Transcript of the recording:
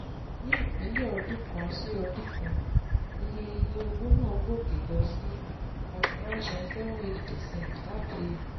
Ní ìpìlẹ̀ ọdún kan sí ọdún kan, iye iye owó náà gòkè lọ sí thirty nine point seven eight percent láti